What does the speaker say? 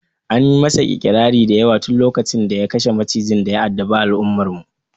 Anyi masa ƙirari da yawa tun lokacin da ya kashe macijin daya addabe al'ummar mu